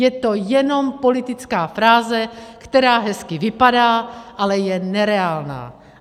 Je to jenom politická fráze, která hezky vypadá, ale je nereálná!